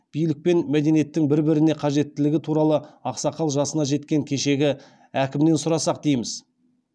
билік пен мәдениеттің бір біріне қажеттілігі туралы ақсақал жасына жеткен кешегі әкімнен сұрасақ дейміз